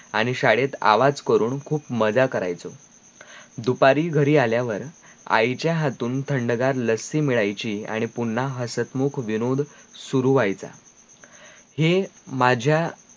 आणी शाळेत आवाज करून खूप मजा करायचो दुपारी घरी आल्यावर आईच्या हातून थंडगार लस्सी मिळायची आणी पुन्हा हस्तमुख विनोद शुरू व्हायचा हे माझ्या